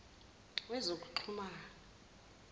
wezokuxhumana